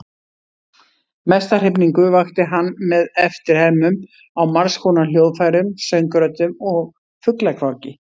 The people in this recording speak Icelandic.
Mesta hrifningu vakti hann með eftirhermum á margskonar hljóðfærum, söngröddum og fuglakvaki.